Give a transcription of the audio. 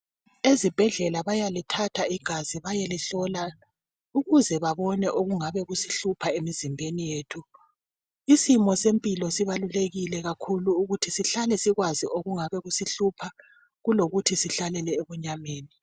Ezibhedlela bayalithatha igazi bayelihlola ukuze babone okungabe kusihlupha emizimbeni yethu. Isimo sempilo sibalulekile kakhulu ukuthi sihlale sikwazi okungabe kusihlupha kulokuthi sihlalele ebunyameni.